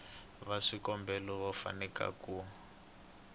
va swikombelo va fanele ku